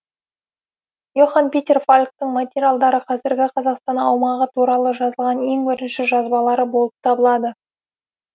и охан питер фальктың материалдары қазіргі қазақстан аумағы туралы жазылған ең бірінші жазбалары болып табылады